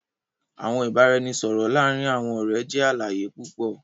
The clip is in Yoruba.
Awọn ibaraẹnisọrọ laarin awọn ọrẹ jẹ alaye pupọ